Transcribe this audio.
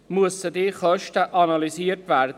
Deshalb müssen diese Kosten analysiert werden.